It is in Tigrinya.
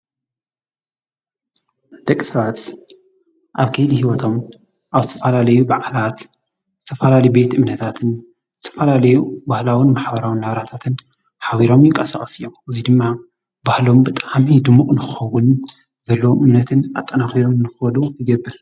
ደቂ ሰባት ኣብ ከይዲ ህይወቶም ኣብ ዝተፋላለዩ ባዓላት ዝተፋላለየ ቤት እምነታትን ዝተፋላለዩ ባህላውን ማሕበራውን ናብራታትን ሓቢሮም ይንቃሳቐሱ እዮም፡፡ እዙይ ድማ ባህሎም ብጣዕሚ ድሙቕ ንኸኸውን ዘለዎም እምነትን ኣጠናኽሮም ንኽኸዱ ይገብር፡፡